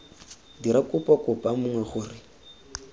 dira kopo kopa mongwe gore